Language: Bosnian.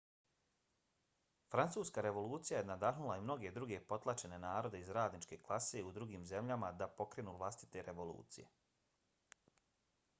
francuska revolucija je nadahnula i mnoge druge potlačene narode iz radničke klase u drugim zemljama da pokrenu vlastite revolucije